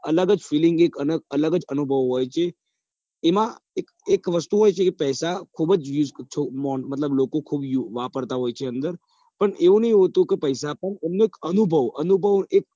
અલગ જ filing હોય છે અલગ જ અનુભવ હોય છે એમાં એક વસ્તુ હોય છે કે પૈસા લોકો ખુબ વાપરતા હોય છે અંદર પણ એવુ નહીં હોતુ કે પૈસા આપો પણ અનુભવ અનુભવ